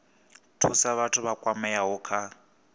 thusa vhathu vha kwameaho kha